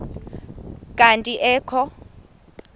kanti ee kho